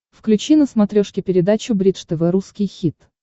включи на смотрешке передачу бридж тв русский хит